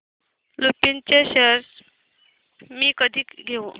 लुपिन चे शेअर्स मी कधी घेऊ